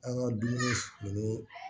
An ka dumuni